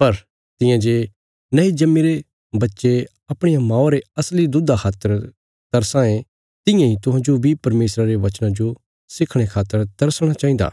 पर तियां जे नये जम्मीरे बच्चे अपणिया मौआ रे असली दुधा खातर तरसां ये तियां इ तुहांजो बी परमेशरा रे वचना जो सिखणे खातर तरसणा चाहिन्दा